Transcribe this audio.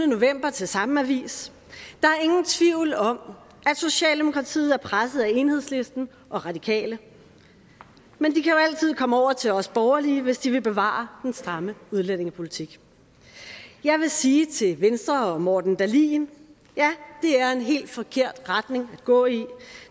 november til samme avis der er ingen tvivl om at socialdemokratiet er presset af enhedslisten og radikale men de kan jo altid komme over til os borgerlige hvis de vil bevare den stramme udlændingepolitik jeg vil sige til venstre og morten dahlin ja det er en helt forkert retning at gå i